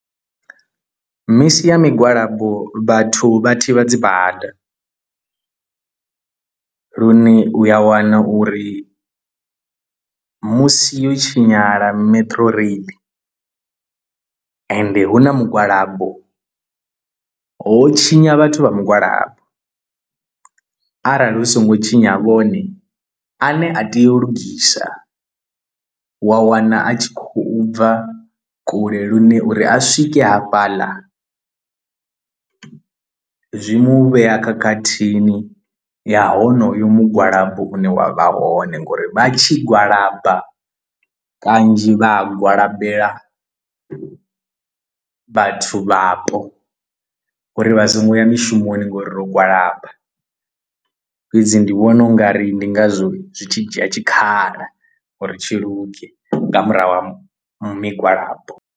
Misi ya migwalabo vhathu vha thivha dzibada lune uya wana uri musi yo tshinyala metro rail ende hu na mugwalabo ho tshinya vhathu vha mugwalabo arali hu so ngo tshinya vhone ane a tea u lugisa wa wana a tshi khou bva kule lune uri a swike hafhaḽa zwi mu vhea khakhathini ya honoyu mugwalabo une wa vha hone, ngori vha tshi gwalaba kanzhi vha a gwalabela vhathu vhapo uri vha songo ya mishumoni ngori ro gwalaba fhedzi ndi vhona ungari ndi ngazwo zwi tshi dzhia tshikhala uri tshi luge nga murahu ha migwalabo.